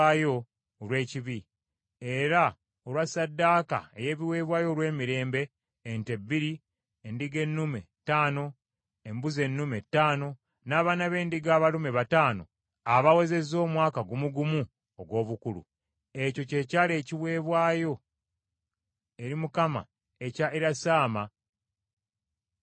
era olwa ssaddaaka ey’ebiweebwayo olw’emirembe: ente bbiri, endiga ennume ttaano, embuzi ennume ttaano, n’abaana b’endiga abalume bataano abawezezza omwaka gumu gumu ogw’obukulu. Ekyo kye kyali ekiweebwayo eri Mukama ekya Erisaama mutabani wa Ammikudi.